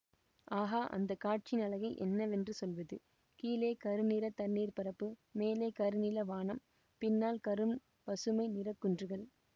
ஆகா அந்த காட்சியின் அழகை என்னவென்று சொல்வது கீழே கருநிறத் தண்ணீர் பரப்பு மேலே கரு நீல வானம் பின்னால் கரும் பசுமை நிறக்குன்றுகள்